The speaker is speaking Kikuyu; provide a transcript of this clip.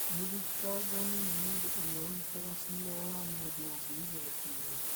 Mũthitangani mũndũ ũrĩa ũrutaga cira wa mũndũ ũngĩ igoti-inĩ